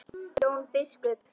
Jón biskup!